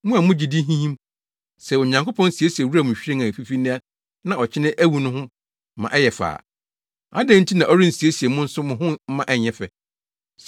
Mo a mo gyidi hinhim, sɛ Onyankopɔn siesie wuram nhwiren a efifi nnɛ na ɔkyena awu no ho ma ɛyɛ fɛ a, adɛn nti na ɔrensiesie mo nso mo ho mma ɛnyɛ fɛ.